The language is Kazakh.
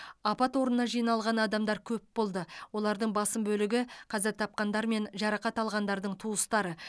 апат орнына жиналған адамдар көп болды олардың басым бөлігі қаза тапқандар мен жарақат алғандардың туыстары